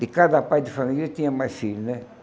De cada pai de família tinha mais filhos, né?